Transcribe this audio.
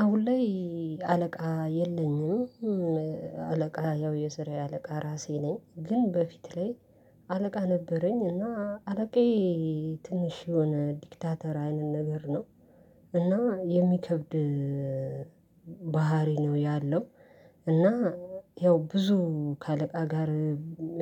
አሁን ላይ አለቃ የለኝም። አለቃ ያው የስራዬ አለቃ ራሴ ነኝ ግን በፊት ላይ አለቃ ነበረኝ። እና አለቃዬ ትንሽ የሆነ ዲክታተራ ነገር ነው። እና የሚከብድ ባህሪ ነው ያለው። እና ያው ብዙ ከአለቃ ጋር